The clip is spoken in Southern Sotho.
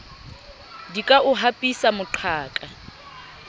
di ka o hapisa moqhaka